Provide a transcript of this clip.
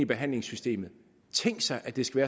behandlingssystemet tænk sig at det skal